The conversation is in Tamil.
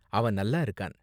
அவன் நல்லா இருக்கான்.